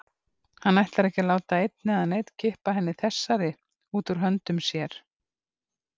Hann ætlar ekki að láta einn eða neinn kippa henni þessari út úr höndum sér.